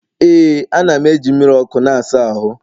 Ee, a na'm eji mmiri ọkụ na-asa ahụ.